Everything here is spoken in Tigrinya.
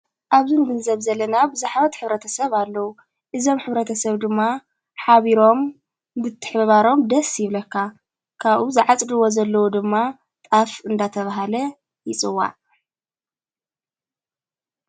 ኣብዙን ብል ዘብ ዘለና ብብዛኅበት ኅብረተሰብ ኣለዉ። እዞም ኅብረተሰብ ድማ ኃቢሮም ይትሕባበሩ ደስ ይብለካ። ካቡኡ ዝዓጽድዎ ዘለዎ ድማ ጣፍ እንዳተብሃለ ይፅዋዕ።